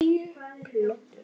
Græjur og plötur.